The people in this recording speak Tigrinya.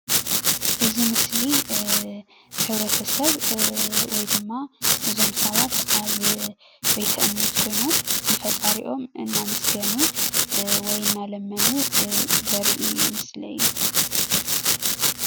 እዚ ምስሊ ሕብረተሰብ ወይ ድማ እዞም ሰባት ኣብ ቤተ እምነት ኮይኖም ንፈጣሪኦም እናመስገኑ ወይ እና ለመኑ ዘርኢ ምስሊ እዩ።